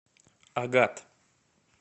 агат